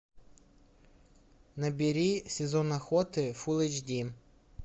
набери сезон охоты фул эйч ди